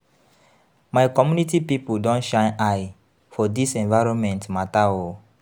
My community pipu don shine eye for dis environment mata o.